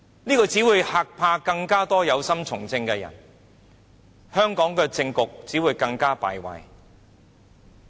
這只會嚇怕更多有心從政的人，香港的政局只會更敗壞。